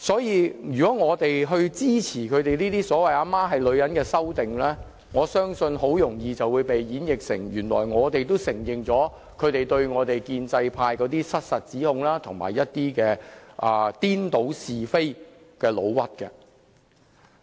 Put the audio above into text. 如果我們支持這些"母親是女人"的修訂，我相信很容易會被演繹為我們承認他們對建制派的失實指控，以及顛倒是非的誣衊。